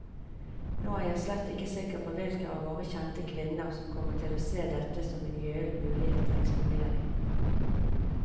Nå er jeg slett ikke sikker på hvilke av våre kjente kvinner som kommer til å se dette som en gyllen mulighet til eksponering.